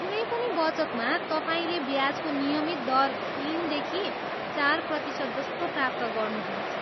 कुनै पनि बचतमा तपाईँले ब्याजको नियमित दर तिन देखि चार प्रतिशत जस्तो प्राप्त गर्नुहुनेछ।